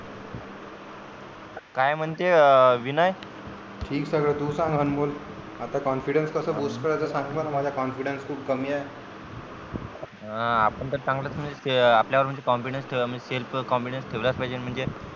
काय म्हणते विनय ठीक सगळ तू सांग अनमोल आता confidence कसं bust करायचं सांग बरं माझा confidence खूप कमी आहे. हं आपण तर चांगलंच आपल्या वर म्हणजे confidence self confidence ठेवलाच पाहिजे न म्हणजे